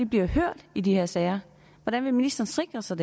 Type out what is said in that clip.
bliver hørt i de her sager hvordan vil ministeren sikre sig